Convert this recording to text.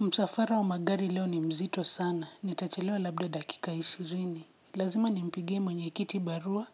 Msafara wa magari leo ni mzito sana, nitachelewa labda dakika ishirini. Lazima nimpigie mwenye kiti barua,